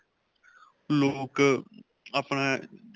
ਲੋਕ ਆਪਣਾ.